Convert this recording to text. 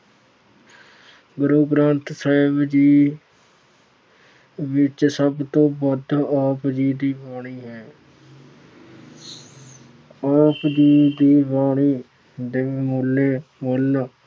ਗੁਰੂ ਗ੍ਰੰਥ ਸਾਹਿਬ ਜੀ ਵਿੱਚ ਸਭ ਤੋਂ ਵੱਧ ਆਪ ਜੀ ਦੀ ਬਾਣੀ ਹੈ। ਆਪ ਜੀ ਦੀ ਬਾਣੀ ਦੇ